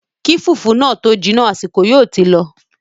Kí fùfú náà tó jiná, àsìkò yóò ti lọ